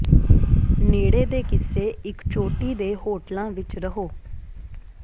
ਨੇੜੇ ਦੇ ਕਿਸੇ ਇੱਕ ਚੋਟੀ ਦੇ ਹੋਟਲਾਂ ਵਿੱਚ ਰਹੋ